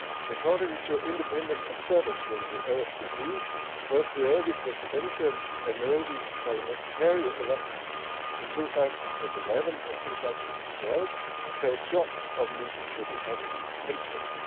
According to independent observers from the OSCE, both the early presidential and early parliamentary elections in 2011 and 2012 fell short of meeting democratic principles.